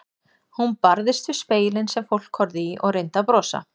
Hún barðist við spegilinn sem fólk horfði í og reyndi að brosa.